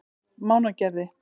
Mánagerði